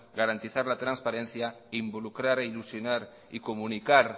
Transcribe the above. garantizar la transparencia involucrar e ilusionar y comunicar